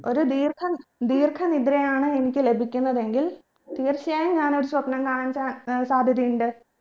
ഒരു ദീർഘം ദീർഘ നിദ്രയാണ് എനിക്ക് ലഭിക്കുന്നതെങ്കിൽ തീർച്ചയായും ഞാനൊരു സ്വപ്നം കാണാൻ cha ഏർ സാധ്യതയുണ്ട്